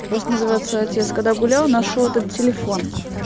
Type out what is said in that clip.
просто называется отец когда гулял нашёл этот телефон